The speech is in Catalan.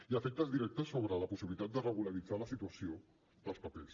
i efectes directes sobre la possibilitat de regularitzar la situació dels papers